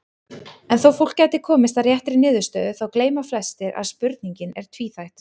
En þó fólk gæti komist að réttri niðurstöðu þá gleyma flestir að spurningin er tvíþætt.